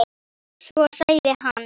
Svo sagði hann